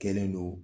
Kɛlen don